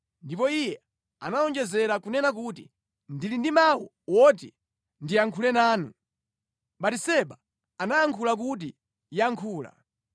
Ndipo iye anawonjezera kunena kuti, “Ndili ndi mawu oti ndiyankhule nanu.” Batiseba anayankha kuti, “Yankhula.”